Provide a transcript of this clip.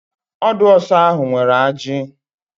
Ọdụ ọsá ahụ nwere ajị.